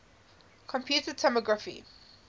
computed tomography